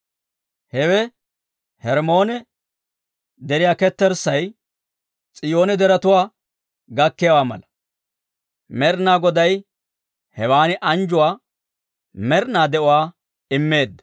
Hewe Hermmoone deriyaa ketterssay, S'iyoone Deretuwaa gakkiyaawaa mala. Med'inaa Goday hewan anjjuwaa, med'inaa de'uwaa immeedda.